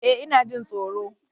Eh ina jin tsoro.